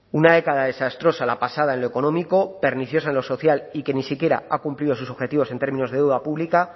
una década desastrosa la pasada en lo económico perniciosa en lo social y que ni siquiera ha cumplido sus objetivos en términos de deuda pública